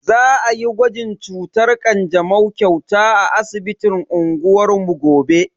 Za ayi gwajin cutar kanjamau kyauta a asibitin unguwar mu gobe.